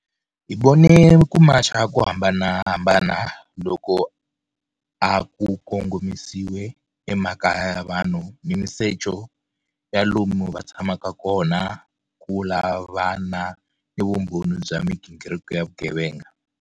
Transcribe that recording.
Hi vone ku macha ko hambanahambana loku a ku kongomisiwe emakaya ya vanhu ni misecho ya lomu va tshamaka kona ku lavana ni vumbhoni bya migingiriko ya vugevenga.